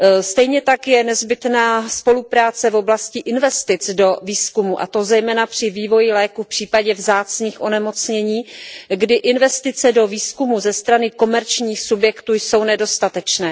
Stejně tak je nezbytná spolupráce v oblasti investic do výzkumu, a to zejména při vývoji léků v případě vzácných onemocnění, kdy investice do výzkumu ze strany komerčním subjektů jsou nedostatečné.